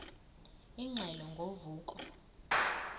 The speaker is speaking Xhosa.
ingxelo ngo vuko